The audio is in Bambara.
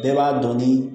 Bɛɛ b'a dɔn ni